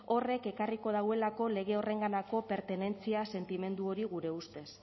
horrek ekarriko dauelako lege horrenganako pertenentzia sentimendu hori gure ustez